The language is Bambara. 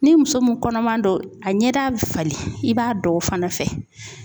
Ni muso mun kɔnɔman don, a ɲɛda be falen i b'a dɔn o fana fɛ.